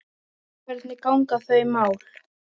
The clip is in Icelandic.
Hvernig ganga þau mál?